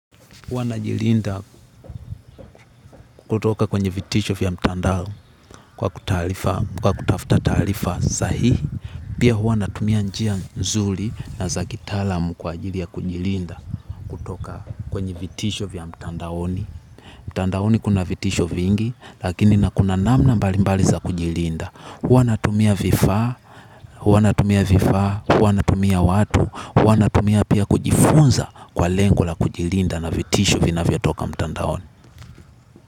Huwa najilinda kutoka kwenye vitisho vya mtandao kwa kutafuta taarifa, kwa kutafuta taarifa sahihi. Pia huwa natumia njia nzuri na za kitalaam kwa ajili ya kujilinda kutoka kwenye vitisho vya mtandaoni. Mtandaoni kuna vitisho vingi lakini na kuna namna mbali mbali za kujilinda. Huwa natumia vifaa, huwa natumia vifaa, huwa natumia watu, huwa. Natumia pia kujifunza kwa lengo la kujilinda na vitisho vinavyo toka mtandaoni.